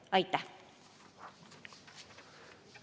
Aitäh!